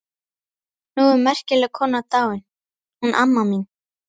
Nú er merkileg kona dáin, hún amma mín.